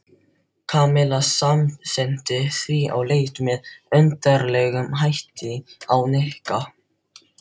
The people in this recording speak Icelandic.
Kamilla samsinnti því og leit með undarlegum hætti á Nikka.